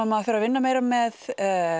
maður fer að vinna meira með